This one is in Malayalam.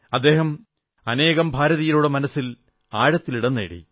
അദ്ദേഹം അനേകം ഭാരതീയരുടെ മനസ്സിൽ ആഴത്തിൽ ഇടംനേടി